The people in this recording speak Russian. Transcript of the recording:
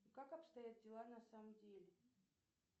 как обстоят дела на самом деле